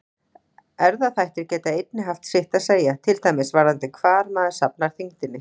Erfðaþættir geta einnig haft sitt að segja, til dæmis varðandi hvar maður safnar þyngdinni.